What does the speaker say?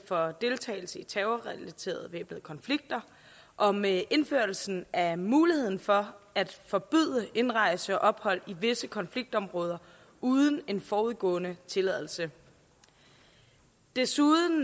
for deltagelse i terrorrelaterede væbnede konflikter og med indførelsen af muligheden for at forbyde indrejse og ophold i visse konfliktområder uden en forudgående tilladelse desuden